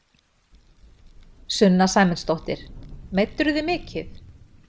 Sunna Sæmundsdóttir: Meiddirðu þig mikið?